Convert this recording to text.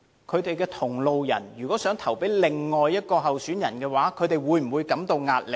他們的同路人如果想投票給另一位候選人，他們會否感到壓力呢？